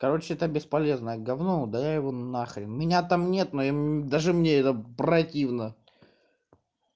короче это бесполезное гавно удаляй его на хрен меня там нет но даже мне это противно